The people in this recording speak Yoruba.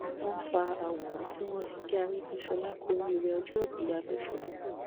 wọn fa àwòrán tí wọn fi kí arègbèsọlá kù oríire ọjọòbí ya lọsgbọ